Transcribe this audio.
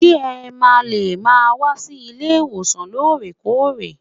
Ṣé ẹ ma lè máa wá sí ilé ìwòsàn loore-koore.